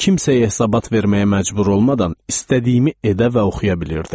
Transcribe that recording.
Kimsəyə hesabat verməyə məcbur olmadan istədiyimi edə və oxuya bilirdim.